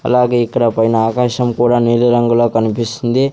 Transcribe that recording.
అలాగే ఇక్కడ పైన ఆకాశం కూడా నీలిరంగులో కన్పిస్తుంది.